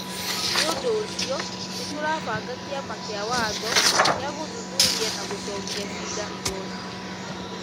Nĩ ũndũ ũcio, nĩ tũrabanga kĩama gĩa watho gĩa gũthuthuria na gũcokia ciira igoti-nĩ.